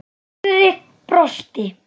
Friðrik brosti.